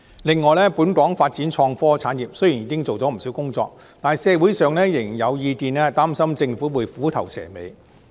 另外，本港在發展創科產業方面雖然已經做了不少工作，但社會上仍然有意見擔心政府會虎頭蛇尾。